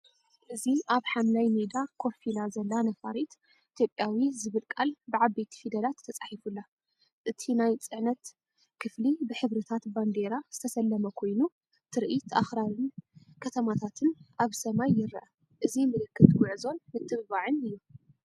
እዚ ኣብ ሓምላይ ሜዳ ኮፍ ኢላ ዘላ ነፋሪት፡ ኢትዮጵያዊ ዝብል ቃል ብዓበይቲ ፊደላት ተጻሒፉላ። እቲ ናይ ጽዕነት ክፍሊ ብሕብርታት ባንዴራ ዝተሰለመ ኮይኑ፡ ትርኢት ኣኽራንን ከተማታትን ኣብ ሰማይ ይርአ። እዚ ምልክት ጉዕዞን ምትብባዕን'ዩ።